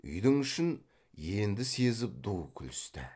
үйдің ішін енді сезіп ду күлісті